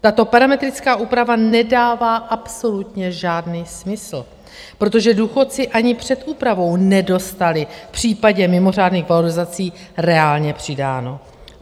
Tato parametrická úprava nedává absolutně žádný smysl, protože důchodci ani před úpravou nedostali v případě mimořádných valorizací reálně přidáno.